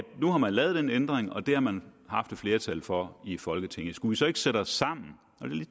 nu har lavet den ændring og det har man haft et flertal for i folketinget skulle så ikke sætte os sammen og